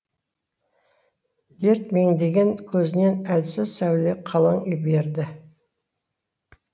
дерт меңдеген көзінен әлсіз сәуле қылаң берді